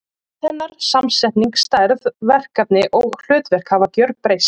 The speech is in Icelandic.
Gerð hennar, samsetning, stærð, verkefni og hlutverk hafa gjörbreyst.